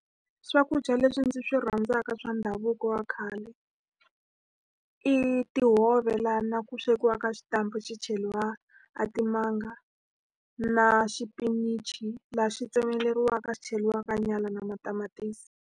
Swakudya leswi ndzi swi rhandzaka swa ndhavuko wa khale i tihove. Lahaku swekiwaka xitampa xi cheriwa a timanga, na xipinichi laha xi tsemeleriwaka xi cheriwaka nyala na matamatisi.